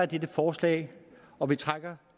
dette forslag og vi trækker